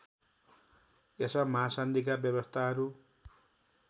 यस महासन्धिका व्यवस्थाहरू